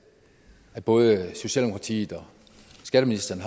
er både socialdemokratiet og skatteministeren